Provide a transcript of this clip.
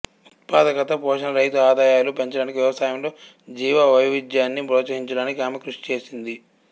ఉత్పాదకత పోషణ రైతు ఆదాయాలు పెంచడానికి వ్యవసాయంలో జీవవైవిధ్యాన్ని ప్రోత్సహించడానికి ఆమె కృషి చేసింది